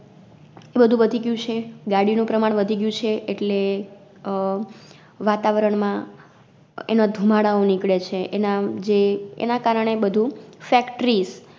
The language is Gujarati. એબધું વધી ગયું છે, ગાડીનું પ્રમાણ વધી ગયું છે એટલે અ વાતાવરણ માં એનો ધૂમાડાઓ નિકડે છે, એના જે એનાકારણે બધુ Factories